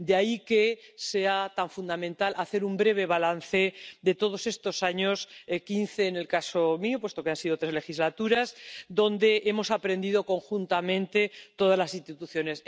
De ahí que sea fundamental hacer un breve balance de todos estos años —quince en mi caso, puesto que han sido tres legislaturas—, donde hemos aprendido conjuntamente todas las instituciones.